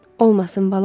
Olmasın bala.